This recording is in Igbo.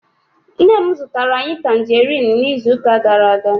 Nne m zụtara anyị tanjeriin n'izuụka gara-aga.